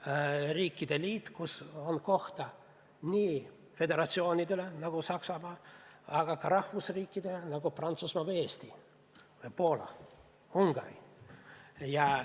See on riikide liit, kus on koht nii föderatsioonidele, nagu on Saksamaa, aga ka rahvusriikidele, nagu on Prantsusmaa või Eesti või Poola ja Ungari.